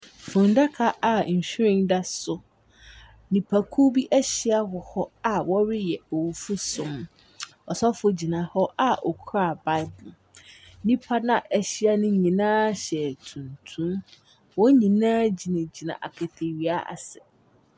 Mmaa baasa a ahyia redidi wɔ adidipono so. Nnuane ahodoɔ bebree ɛwɔ adidi pono no so. Mmaa no baako resere anigyeɛ so agye biribi afiri ɔyɔnkoɔ hɔ. Baako nso te hɔ a ɔredidi.